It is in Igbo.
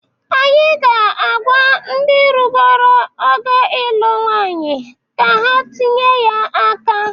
Anyị ga-agwa ndị rugoro ogo ịlụ nwanyị ka ha tinye ya aka.